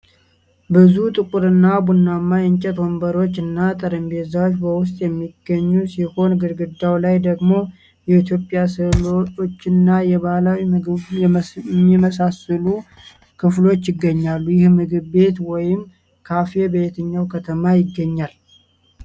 ብዙ ጥቁርና ቡናማ የእንጨት ወንበሮችና ጠረጴዛዎች በውስጥ የሚገኙ ሲሆን፣ ግድግዳው ላይ ደግሞ የኢትዮጵያ ሥዕሎችና የባህላዊ ቤቶችን የሚመስሉ ክፍሎች ይገኛሉ። ይህ ምግብ ቤት ወይም ካፌ በየትኛው ከተማ ይገኛል?